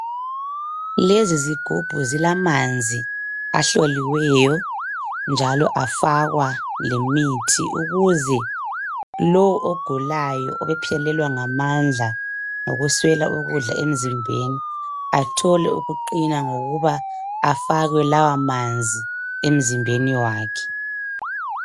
Lezi zigubhu zilamanzi ahloliweyo njalo afakwa lemithi ukuze lo ogulayo obephelelwa ngamandla ngokuswela ukudla emzimbeni athole ukuqina ngokuba afakwe lawa manzi emzimbeni wakhe.